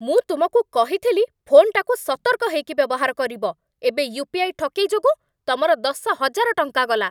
ମୁଁ ତୁମକୁ କହିଥିଲି ଫୋନ୍‌ଟାକୁ ସତର୍କ ହେଇକି ବ୍ୟବହାର କରିବ । ଏବେ ୟୁପିଆଇ ଠକେଇ ଯୋଗୁଁ ତମର ଦଶ ହଜାର ଟଙ୍କା ଗଲା ।